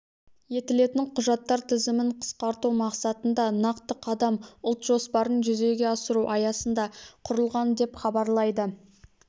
етілетін құжаттар тізімін қысқарту мақсатында нақты қадам ұлт жоспарын жүзеге асыру аясында құрылған деп хабарлайды